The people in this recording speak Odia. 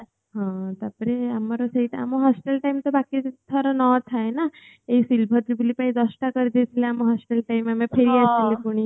ହଁ ତାପରେ ଆମର ସେଇଟା ଆମର hostel time ରେ ବାକିଥର ନଥାଏ ନା ଏଇ silver ଜୁବୁଲି ପାଇଁ ଦଶଟା କରିଦେଇଥିଲେ ଆମ hostel time ଆମେ ଫେରି ଆସିଥିଲେ ପୁଣି